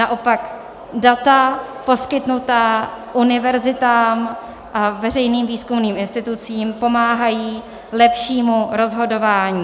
Naopak data poskytnutá univerzitám a veřejným výzkumným institucím pomáhají lepšímu rozhodování.